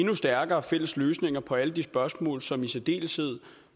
endnu stærkere fælles løsninger på alle de spørgsmål som i særdeleshed